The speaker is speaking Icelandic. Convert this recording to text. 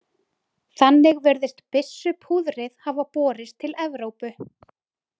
Þannig virðist byssupúðrið hafa borist til Evrópu.